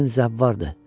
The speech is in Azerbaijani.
Yəqin zəvvardır.